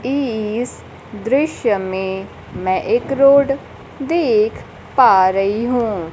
इस दृश्य में मैं एक रोड देख पा रही हूं।